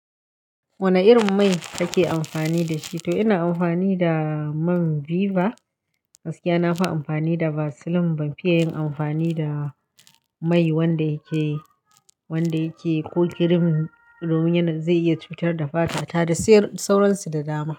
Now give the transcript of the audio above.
Wane irin mai kake amfani da shi? To ina amfani da man Viva. Gaskiya na fa amfani da Vaseline. Ban fiye yin amfani da mai wanda yake, wanda yake ko cream domin yana zai iya cutar da fata ta da sauransu da dama.